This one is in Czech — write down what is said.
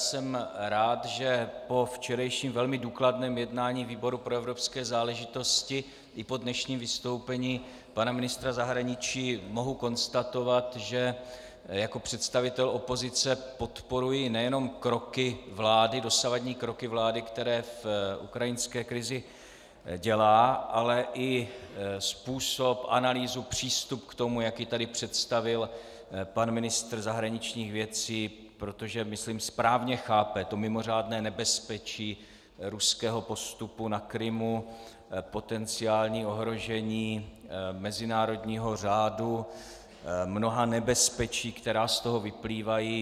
Jsem rád, že po včerejším velmi důkladném jednání výboru pro evropské záležitosti i po dnešním vystoupení pana ministra zahraničí mohu konstatovat, že jako představitel opozice podporuji nejenom kroky vlády, dosavadní kroky vlády, které v ukrajinské krizi dělá, ale i způsob, analýzu, přístup k tomu, jak je tady představil pan ministr zahraničních věcí, protože, myslím, správně chápe to mimořádné nebezpečí ruského postupu na Krymu, potenciální ohrožení mezinárodního řádu, mnoha nebezpečí, která z toho vyplývají.